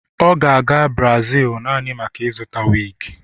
ọ ga-aga Brazil naanị maka ịzụta wig